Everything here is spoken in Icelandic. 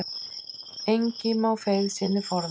Engi má feigð sinni forða.